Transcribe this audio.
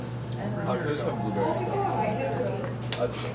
afrika ryklik bedeeld